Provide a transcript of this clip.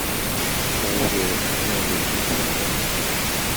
Tagu kole makiyei komyei tyondo nin